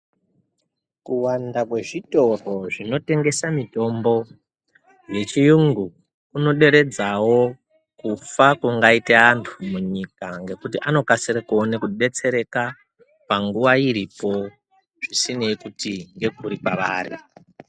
Kuwanda kwezvitoro zvinotengesa mitombo yechirungu kunoderedzawo kufa kungaita antu munyika nekuti anokasira kuona kudetsereka nguwa iripo zvisinei kuti ndekupi kwavaro.